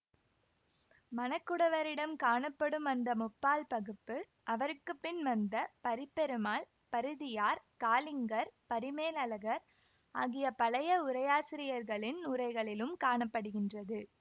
மணக்குடவரிடம் காணப்படும் அந்த முப்பால் பகுப்பு அவருக்கு பின் வந்த பரிப்பெருமாள் பரிதியார் காலிங்கர் பரிமேலழகர் ஆகிய பழைய உரையாசிரியர்களின் உரைகளிலும் காண படுகின்றது